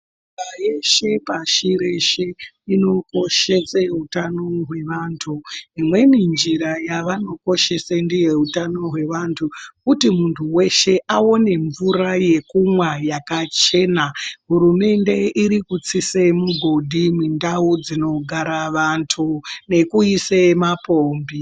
Nyika yeshe pashi reshe inokoshe utano hwevantu imweni njira yavanokoshese utano hwevantu kuti muntu weshe aone mvura yekumwa yakachena hurumende iri kutsise migodhi mundau dzinogara vantu nekuise mapombi.